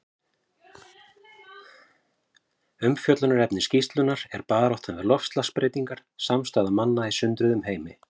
Umfjöllunarefni skýrslunnar er Baráttan við loftslagsbreytingar: Samstaða manna í sundruðum heimi.